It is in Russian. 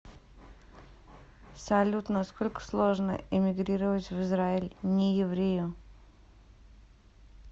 салют насколько сложно иммигрировать в израиль нееврею